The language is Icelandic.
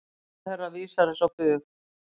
Ráðherra vísar þessu á bug.